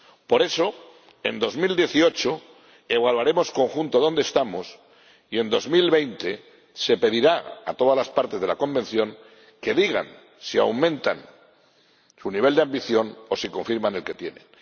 Por eso, en 2018 evaluaremos en conjunto dónde estamos y en 2020 se pedirá a todas las partes de la Convención que digan si aumentan su nivel de ambición o si confirman el que tienen.